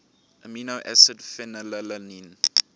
amino acid phenylalanine